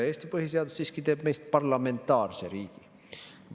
Eesti põhiseadus siiski teeb meist parlamentaarse riigi.